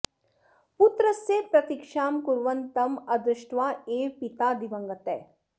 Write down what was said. पुत्रस्य प्रतीक्षां कुर्वन् तम् अदृष्ट्वा एव पिता दिवङ्गतः